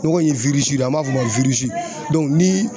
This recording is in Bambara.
Nɔgɔ in ye an b'a fɔ o ma ni